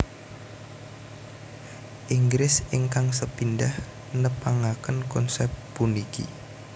Inggris ingkang sepindhah nepangaken konsèp puniki